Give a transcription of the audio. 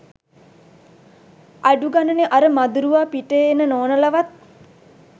අඩුගනනෙ අර මදුරුවා පිටේ එන නෝනලවත්